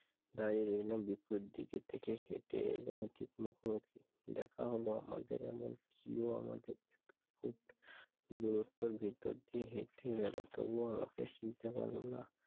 দাঁড়িয়ে রইল বিপরীত দিক থেকে হেঁটে এল ঠিক মুখোমুখি দেখা হলো আমাদের। এমনকি ও আমাকে একটু দূরত্বের ভেতর দিয়ে হেটে গেলো তবুও আমাকে চিনতে পারল না।